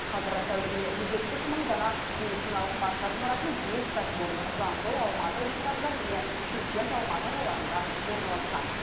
қазір тәулігіне жүз жетпіс мың дана медициналық маска шығаратын бес кәсіпорын жамбыл алматы облыстарында және шымкент алматы қалаларында орналасқан